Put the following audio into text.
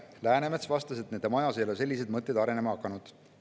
Läänemets vastas, et nende majas ei ole sellised mõtted arenema hakanud.